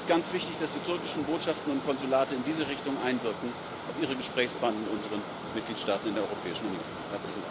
Ich glaube, es ist ganz wichtig, dass die türkischen Botschaften und Konsulate in diese Richtung auf ihre Gesprächspartner in unseren Mitgliedstaaten der Europäischen Union einwirken.